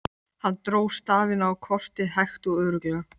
Hann dró stafina á kortið hægt og örugglega.